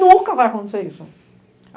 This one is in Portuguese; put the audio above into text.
Nunca vai acontecer isso.